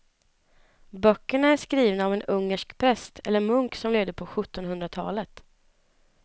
Böckerna är skrivna av en ungersk präst eller munk som levde på sjuttonhundratalet.